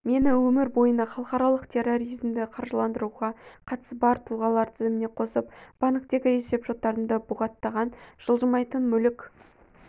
мені өмір бойына халықаралық терроризмді қаржыландыруға қатысы бар тұлғалар тізіміне қосып банктегі есепшоттарымды бұғаттаған жылжымайтын мүлік